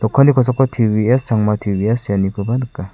okanni kosako T_VS sangma T_VS seanikoba nika.